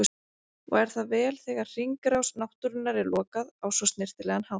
Og er það vel þegar hringrás náttúrunnar er lokað á svo snyrtilegan hátt.